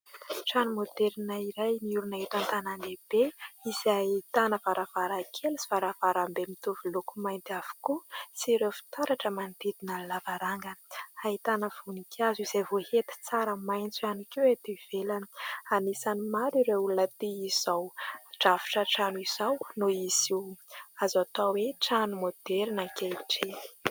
Trano maoderina iray miorina eto an-tanandehibe, izay ahitana varavarankely sy varavarambe mitovy loko mainty avokoa, sy ireo fitaratra manodidina ny lavarangana. Ahitana voninkazo izay voahety tsara maintso ihany koa ety ivelany. Anisan'ny maro ireo olona tia izao drafitra trano izao noho izy io azo atao hoe trano maoderina ankehitriny.